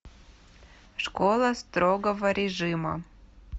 школа строгого режима